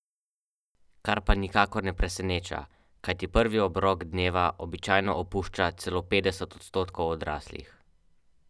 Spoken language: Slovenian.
Letos si je certifikat prislužilo šest občin, lani pa sedem, od tega štiri mestne.